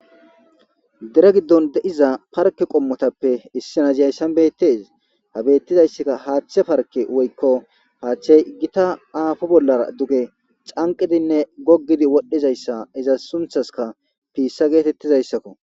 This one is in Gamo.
dira giddon deiza parke qommotappe issi naziyayssan bettes ha bettizayssaka haaththe parke woykko haaththey iggita aafo bollara duge canqidinne goggidi wodhdhizayssa iza sunthaska piissa geetettizayssakko